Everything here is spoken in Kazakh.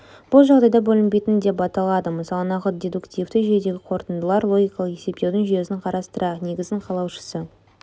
бұл жағдайда бөлінбейтін деп аталады мысалы нақыт дедуктивті жүйедегі қорытындылар логикалық есептеудің жүйесін қарастырайық негізін қалаушысы